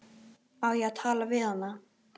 Á ég að tala við hana?